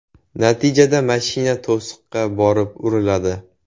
Natijada mashina to‘siqqa borib uriladi.